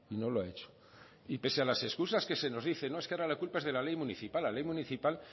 no lo ha hecho y pese a las excusas que se nos dice no es que la culpa es de la ley municipal la ley municipal